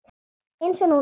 Eins og núna um daginn.